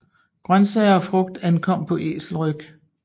Grøntsager og frugt ankom på æselryg